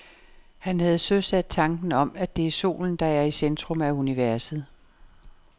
Han havde søsat tanken om, at det er solen, der er i centrum af universet.